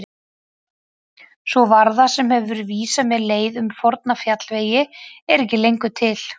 Sú varða sem hefur vísað mér leið um forna fjallvegi er ekki lengur til.